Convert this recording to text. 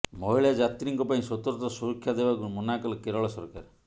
ମହିଳା ଯାତ୍ରୀଙ୍କ ପାଇଁ ସ୍ୱତନ୍ତ୍ର ସୁରକ୍ଷା ଦେବାକୁ ମନାକଲେ କେରଳ ସରକାର